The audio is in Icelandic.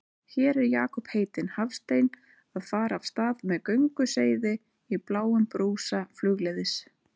Hér er Jakob heitinn Hafstein að fara af stað með gönguseiði í bláum brúsa flugleiðis.